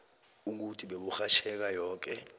ukuthi beburhatjheka yoke